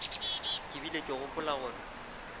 ke bile ke gopola gore